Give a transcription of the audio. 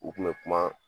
U kun bɛ kuma